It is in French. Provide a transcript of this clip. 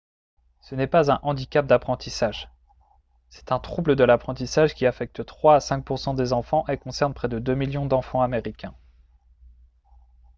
ce n'est pas un handicap d'apprentissage. c'est un trouble de l'apprentissage qui affecte 3 à 5 % des enfants et concerne près de 2 millions d'enfants américains